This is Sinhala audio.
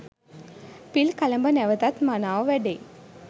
පිල් කළඹ නැවතත් මනාව වැඩෙයි